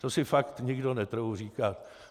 To si fakt nikdo netroufl říkat.